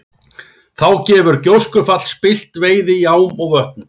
Þá hefur gjóskufall spillt veiði í ám og vötnum.